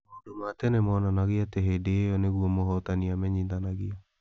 Maũndũ ma tene monanagia atĩ hĩndĩ ĩyo nĩguo mũhootani amenyithanagio.